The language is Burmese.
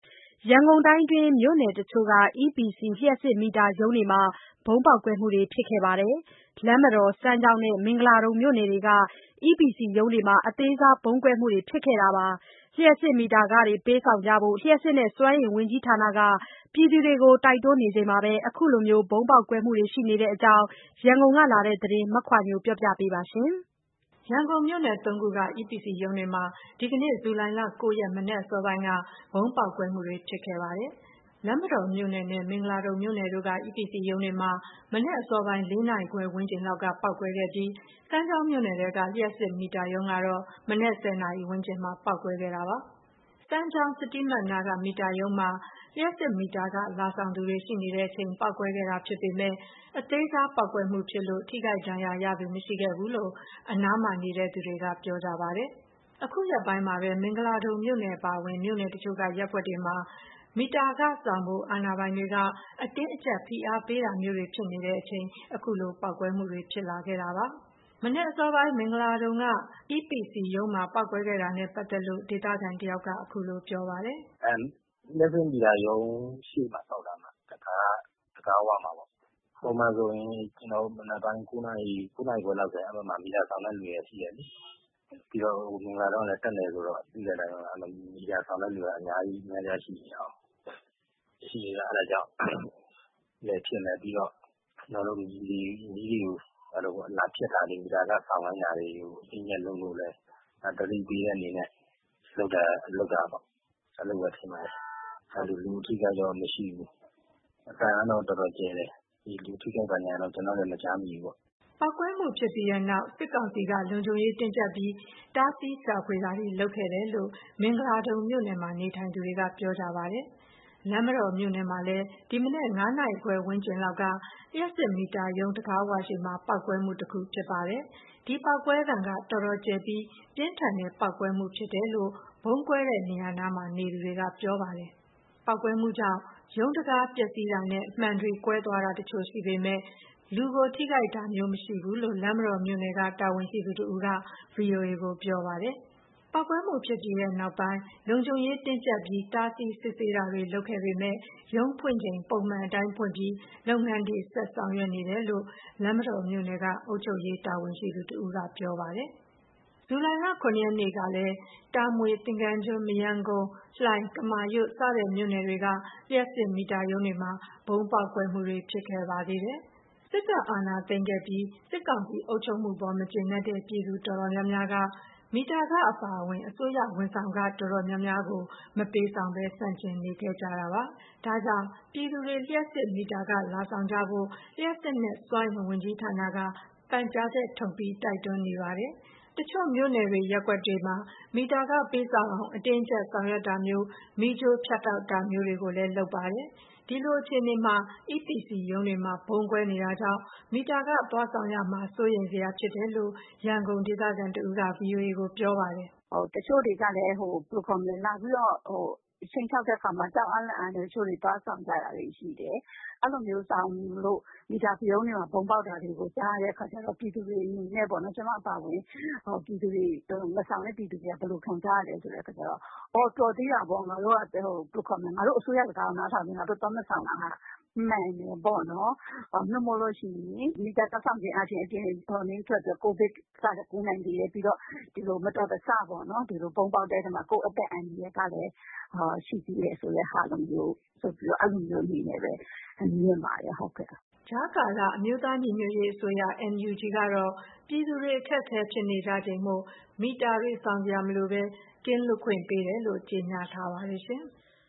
ရန်ကုန်တိုင်းအတွင်း မြို့နယ်တချို့က EPC လျှပ်စစ်မီတာရုံးတွေမှာ ဗုံးပေါက်ကွဲမှုတွေ ဖြစ်ခဲ့ပါတယ်။ လမ်းမတော်၊ စမ်းချောင်းနဲ့ မင်္ဂလာဒုံမြို့နယ်တို့က EPC ရုံးတွေမှာ အသေးစားဗုံးကွဲမှုတွေဖြစ်ခဲ့တာပါ။ လ ျှပ်စစ်မီတာခတွေ ပေးဆောင်ကြဖို့ လ ျှပ်စစ်နဲ့ စွမ်းအင်ဝန်ကြီးဌာနက ပြည်သူတွေကို တိုက်တွန်းနေချိန်မှာ အခုလို ဗုံးပေါက်ကွဲတာတွေ ရှိနေတဲ့အကြောင်း ရန်ကုန်ကလာတဲ့သတင်းကို မခွာညိုက ပြောပြပါမယ်။ ရန်ကုန် မြို့နယ် ၃ ခုက EPC ရုံးတွေမှာ ဒီနေ့ ဇူလိုင်လ ၉ ရက် မနက်အစောပိုင်းက ဗုံးပေါက်ကွဲမှုတွေဖြစ်ခဲ့တာပါ။ လမ်းမတော်မြို့နယ်နဲ့ မင်္ဂလာဒုံမြို့နယ်တို့က EPC ရုံးတွေမှာ မနက်အစောပိုင်း ၄ နာရီခွဲဝန်းကျင်လောက်က ပေါက်ကွဲခဲ့တာဖြစ်ပြီး စမ်းချောင်းမြို့နယ်ထဲက လျှပ်စစ်မီတာရုံးကတော့ မနက် ၁၀ နာရီဝန်းကျင်မှာ ပေါက်ကွဲခဲ့တာပါ။ စမ်းချောင်း စီးတီးမတ်နားက မီတာရုံးမှာ လ ျှပ်စစ်မီတာခ လာဆောင်သူတွေသူတွေ ရှိနေချိန် ပေါက်ကွဲခဲ့တာဖြစ်ပေမဲ့ အသေးစားပေါက်ကွဲမှုမို့ ထိခိုက်ဒဏ်ရာရသူ မရှိခဲ့ဘူးလို့ အနားမှာနေသူတွေက ပြောပြပါတယ်။ အခုရက်ပိုင်းမှာပဲ မင်္ဂလာဒုံမြို့နယ်အပါအဝင် မြို့နယ်တချို့က ရပ်ကွက်တွေမှာ မီတာခဆောင်ဖို့ အာဏာပိုင်တွေက အတင်းအကြပ်ဖိအားပေးတာမျိုးတွေဖြစ်နေချိန် ခုလိုပေါက်ကွဲမှုတွေဖြစ်ခဲ့တာပါ။ မနက်အစောပိုင်း မင်္ဂလာဒုံက EPC ရုံးမှာပေါက်ကွဲခဲ့တာနဲ့ပတ်သက်လို့ ဒေသခံတယောက်က ခုလိုပြောပြပါတယ်။ “လျှပ်စစ်မီတာရုံး တံခါးဝမှာပေါက်တာ၊ ပုံမှန်ဆိုရင် ကျနော်တို့ မနက်တိုင်း ၉ နာရီ ၉ နာရီခွဲလောက်ဆိုရင် မီတာလာဆောင်တဲ့သူတွေက ရှိတယ်လေ။ ပြီးတော့ မဂ်လာဒုံကလည် းတပ်နယ်ဆိုတော့ သိတဲ့အတိုင်းပဲပေါ့။ မီတာဆောင်တဲ့သူက အရမ်းအများကြီးရှိတာပေါ့။ လက်ရှိက အဲ့ဒါကြောင့်လည်းဖြစ်မယ်၊ ပြီးတော့ မီးဖြတ်တာတွေ မီတာခဆောင်ခိုင်းတာတွေကို အတင်းအကြပ်လုပ်လို့လည်း သတိပေးတဲ့အနေနဲ့ လုပ်တာပေါ့၊ အဲ့လိုပဲ ထင်ပါတယ်။ လူအထိအခိုက်တော့မရှိဘူး။ အသံကတော့ တော်တော်ကျယ်တယ်။ လူအထိအခိုက် ဘာညာကတော့ ကျနော်တို့လည်း မကြားမိဘူးပေါ့။” ပေါက်ကွဲမှုဖြစ်ပြီးတဲ့နောက် စစ်ကောင်စီက လုံခြုံရေးတင်းကြပ်ပြီး တားဆီးရှာဖွေတာတွေ လုပ်ခဲ့တယ်လို့ မဂ်လာဒုံမြို့နယ်မှာ နေထိုင်သူတွေက ပြောပြပါတယ်။ လမ်းမတော်မြို့နယ်မှာလည်း ဒီမနက် ၅ နာရီခွဲ ဝန်းကျင်လောက်က လျှပ်စစ်မီတာရုံးတံခါးဝရှေ့မှာ ပေါက်ကွဲမှုတခုဖြစ်ခဲ့ပါတယ်။ ဒီပေါက်ကွဲသံက တော်တော်ကျယ်ပြီး ပြင်းထန်တဲ့ ပေါက်ကွဲမှုဖြစ်တယ်လို့ ဗုံးကွဲတဲ့နေရာနားမှာ နေသူတွေက ပြောပါတယ်။ ပေါက်ကွဲမှုကြောင့် ရုံးတံခါးပျက်စီးမှုနဲ့ မှန်တွေကွဲတာတချို့ရှိပေမယ့် လူထိခိုက်မှုမရှိဘူးလို့ လမ်းမတော်မြို့နယ်က တာဝန်ရှိသူတဦးက VOA ကို ပြောပါတယ်။ ပေါက်ကွဲမှုဖြစ်ပြီးတဲ့နောက်ပိုင်း လုံခြုံရေးတင်းကြပ်ပြီး တားဆီး စစ်ဆေးမှုတွေလုပ်ခဲ့ပေမယ့် ရုံးဖွင့်ချိန် ပုံမှန်အတိုင်းဖွင့်ပြီး လုပ်ငန်းတွေဆက်ဆောင်ရွက်နေတယ်လို့ လမ်းမတော်မြို့နယ်က အုပ်ချုပ်ရေးတာဝန်ရှိသူတဦးက ပြောပါတယ်။ ဇူလိုင်လ ၇ ရက်နေ့ကလည်း တာမွေ၊ သင်္ကန်းကျွန်း၊ မရမ်းကုန်း၊ လှိုင်၊ ကမာရွတ် စတဲ့မြို့နယ်တွေက လျှပ်စစ်မီတာရုံးတွေမှာ ဗုံးပေါက်ကွဲမှုတွေ ဖြစ်ခဲ့ပါသေးတယ်။ စစ်တပ်အာဏာသိမ်းခဲ့ပြီး စစ်ကောင်စီအုပ်ချုပ်မှုအပေါ် မကျေနပ်တဲ့ ပြည်သူတော်တော်များများက မီတာခအပါအဝင် အစိုးရဝန်ဆောင်ခ တော်တော်များများကို မပေးဆောင်ဘဲ ဆန့်ကျင်နေကြတာပါ။ ဒါကြောင့် ပြည်သူတွေ လ ျှပ်စစ်မီတာခ လာဆောင်ကြဖို့ လ ျှပ်စစ်နဲ့ စွမ်းအင်ဝန်ကြီးဌာနက ပန်ကြားချက်ထုတ် တိုက်တွန်းနေပါတယ်။ တချို့ မြို့နယ် ရပ်ကွက်တွေမှာ မီတာခ ပေးဆောင်အောင် အတင်းအကြပ် ဆောင်ရွက်တာမျိုး မီးကြိုးဖြတ်တောက်တာမျိုးတွေလည်း လုပ်နေပါတယ်။ ဒီလိုအခြေအနေမှာ EPC ရုံးတွေမှာ ဗုံးကွဲနေတာကြောင့် မီတာခသွားဆောင်ရမှာ စိုးရိမ်စရာဖြစ်တယ်လို့ ရန်ကုန်မြို့ခံတဦးက ဗွီအိုအေကိုပြောပါတယ်။ “တချို့တွေကလည်း လာပြီးတော့ ခြိမ်းခြောက်တဲ့အခါမှာ ကြောက်အားလန့်အားနဲ့ သွားပြီးတော့ ဆောင်ကြတာတွေရှိတယ်။ အဲ့လိုမျိုး သွားဆောင်ကြလို့ မီတာရုံးတွေမှာ ဗုံးပေါက်တာတွေလည်း ကြားရတဲ့အခါကျတော့ ကျမအပါအဝင် မဆောင်တဲ့ ပြည်သူတွေက ဘယ်လိုခံစားရလဲဆိုတော့ ‘သြ တော်သေးတာပေါ့၊ ငါတို့ အစိုးရစကားကို နားထောင်ပြီး သွားမဆောင်တာက မှန်တယ်ပေါ့နှော်။ မီတာသွားဆောင်ရင် ဒီကာလက ကိုဗစ်ကလည်း ကူးနိုင်သေးတယ်။ မတော်တဆ ဒီလို ဗုံးပေါက်တဲ့ထဲမှာ ကိုယ့်အသက်အန္တရာယ်ကလည်း ရှိသေးတယ်ဆိုတဲ့ဟာလိုမျိုး အဲ့လိုမျိုးမြင်ပါတယ်။” ကြားကာလ အမျိုးသားညီညွတ်ရေးအစိုးရ NUG ကတော့ ပြည်သူတွေ အခက်အခဲဖြစ်နေကြချိန်မို့ မီတာတွေ ဆောင်စရာမလိုဘဲ ကင်းလွတ်ခွင့်ပေးတယ်လို့ ကြေညာထားပါတယ်။